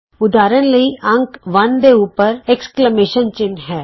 ਉਦਾਹਰਣ ਵਜੋਂ ਅੰਕ 1 ਦੇ ਉੱਪਰ ਵਿਸਮਤ ਚਿੰਨ੍ਹ ਹੈ